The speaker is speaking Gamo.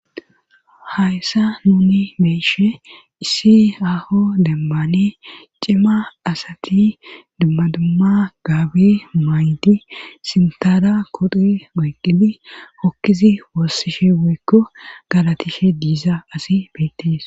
hayssa nuni beyishe eshe issi aho dembane cima asati dummadumma gaabi maaydi sintara kodi goyqqidi hokkizi woossishe woykko galatishe diiza asi beyttis